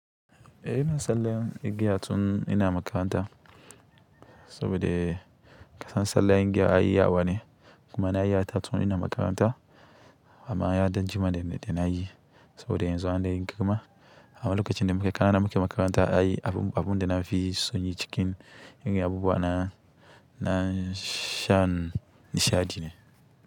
Eh ina sallan igiya tun ina makaranta saboda kasancewar sallan igiya ayi yawane kuma na yi ta tun ina makaranta amma ya ɗan jima da na yi saboda yanzu an ɗan yin girma. Amma lokacin da muke ƙanana muke makaranta ayi abun da na fi son yi cikin abubuwa na shan nishaɗi ne.